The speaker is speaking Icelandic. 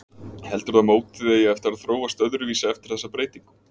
Heldurðu að mótið eigi eftir að þróast öðruvísi eftir þessa breytingu?